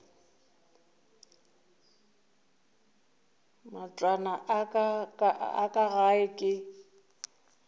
matlwana a ka gae ke